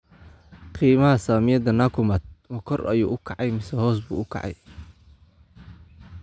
Qiimaha saamiyada nakumatt ma kor ayuu u kacay mise hoos buu u kacay?